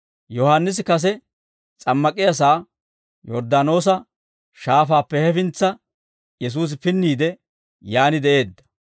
Yohaannisi kase s'ammak'iyaasaa Yorddaanoosa Shaafaappe hefintsa Yesuusi pinniide, yaan de'eedda.